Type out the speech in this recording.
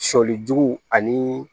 Sɔlijugu ani